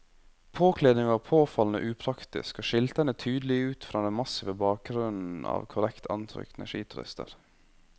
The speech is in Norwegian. Påkledningen var påfallende upraktisk og skilte henne tydelig ut fra den massive bakgrunnen av korrekt antrukne skiturister.